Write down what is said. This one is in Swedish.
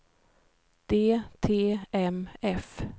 DTMF